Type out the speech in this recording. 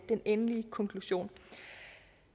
den endelige konklusion